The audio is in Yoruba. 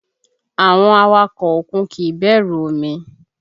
Àwọn awakọ̀ òkun kìí bẹ̀rù omi